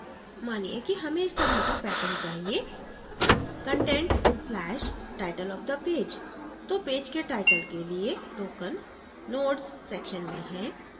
मानिए कि हमें इस तरह का pattern चाहिए content/title of the page तो पेज के टाइटल के लिए token nodes section में है